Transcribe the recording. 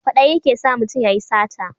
Kwaɗayi ke sa mutum ya yi sata